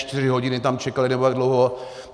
Čtyři hodiny tam čekali, nebo jak dlouho.